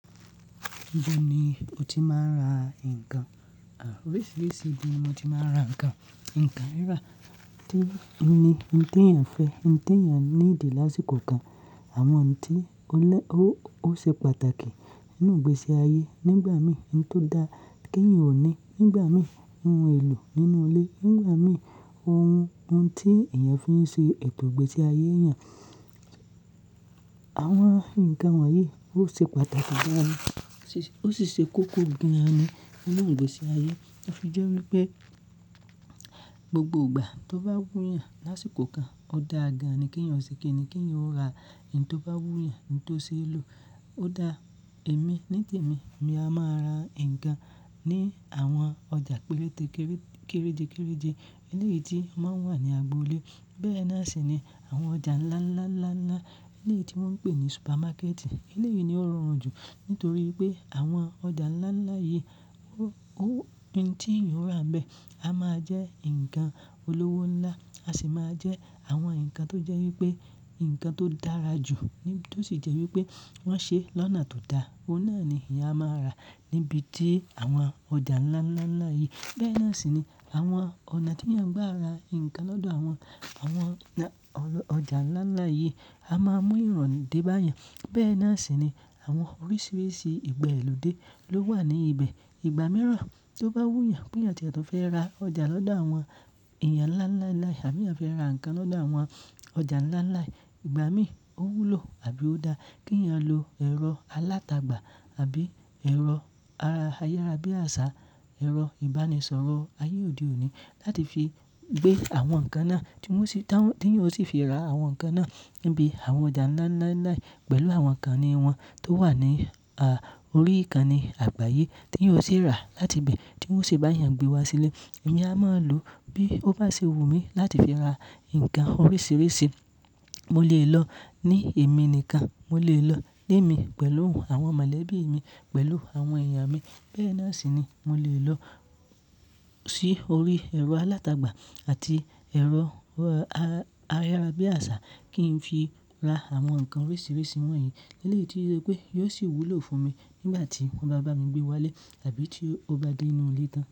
Níbo ni o ti máa ń ra nǹkan? Òrisìírísìí ibi ni mo ti máa ń ra nǹkan. Ǹǹkan rírà, kí ni, ohun tí èèyàn fẹ́, ohun tí èèyàn ní ìdí lásìkò kan, àwọn ohun tí ó lẹ, ó, ó ṣe pàtàkì nínú ìgbésí ayé nígbà mìíràn, ohun tó da kí èèyàn ó ní nígbà mìíràn, ohun èlò nínú ilé nígbà mìíràn, ohun, ohun tí èèyàn fi ń ṣe ètò ìgbésí ayé èèyàn. Àwọn ǹkan wọ̀nyí ó ṣe pàtàkì gan an, ó sì ṣe kókó gan ni nínú ìgbésí ayé. Ó fi jẹ́ wípé gbogbo ìgbà tó bá wù yàn lásìkò kan, ó da gan an kí èèyàn ó ṣe kìí ni kí èèyàn ó ra ohun tó bá wù yàn, ohun tó ṣe é lò. Kò da èmi ní tèmí, èmi a máa ra ǹkan ní àwọn ọjà péréte kéré, kéréje, kéréje. Eléyìí tí màá wà ní agboolé. Bẹ́ẹ̀ náà ṣì ni àwọn ọjà ńlá, ńlá, ńlá, ńlá, eléyìí tí wọ́n ń pè ní supermarket. Eléyìí ni ó rọrùn jù nítorí pé àwọn ọjà ńlá ńlá yìí ó, ohun tí èèyàn ó ra bẹ́ẹ̀ a máa jẹ́ ǹkan olówó ńlá, a ṣì máa jẹ́ àwọn ǹkan tó jẹ́ wípé ǹkan tó dára jù, tó sì jẹ́ wípé wọ́n ṣe lọ́nà tó da. Ohun náà ni èèyàn a máa ra níbi tí àwọn ọjà ńlá, ńlá, ńlá yìí. Bẹ́ẹ̀ náà sì ni àwọn ọ̀nà tí èèyàn gbà ra ǹkan lọ́dọ̀ àwọn, àwọn ọjà ńlá ńlá yìí a máa mú ìròni dé bá èèyàn. Bẹ́ẹ̀ náà ṣì ni àwọn oríṣìíríṣìí ìgbe lódé ló wà ní ibẹ̀. Ìgbà mìíràn tó bá wù yàn pé èèyàn tiẹ lọ fẹ́ ra ọjà lọ́dọ̀ àwọn èèyàn ńlá, ńlá, ńlá àbí èèyàn fẹ́ ra nǹkan lọ́dọ̀ àwọn ọjà ńlá ńlá, ìgbà mì ó wúlò àbí ó da kí èèyàn lo ẹ̀rọ alátagbà àbí ẹ̀rọ ayárabíàṣá, ẹ̀rọ ìbánisọ̀rọ̀ ayé òde òní láti fi gbé àwọn nǹkan náà, tí wọ́n ṣì, tí èèyàn ó tì fi ra àwọn nǹkan náà níbi àwọn ọjà ńlá, ńlá, ńlá pẹ̀lú àwọn nǹkan ìní wọ̀n tó wà ní, à, orí nkan ní àgbáyé tí èèyàn ó ṣì ra láti ibẹ̀ tí wóń ṣi bá èèyàn gbé wá sílé. Èmi a máa lò bí ó bá ṣe wùmí láti fi ra nǹkan oríṣìíríṣìí. Mo lè lọ ní èmi nìkan, mo lè lọ lẹ́mi pẹ̀lú àwọn mọ̀lẹ́bí mi, pẹ̀lú àwọn èèyàn mi. Bẹ́ẹ̀ náà ṣì ni mo lè lọ sí orí ẹ̀rọ alátagbà àti ẹ̀rọ ayárabíàṣá kí n fi ra àwọn nǹkan oríṣìíríṣìí wọ̀nyí eléyìí tí o ṣe pé yóò ṣì wúlò fún mi nígbà tí wọ́n bá bá mi gbé wá lé àbí tí ó bá dé inú ilé tán.